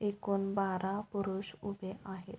एकूण बारा पुरुष उभे आहेत.